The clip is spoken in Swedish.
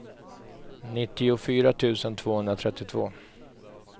nittiofyra tusen tvåhundratrettiotvå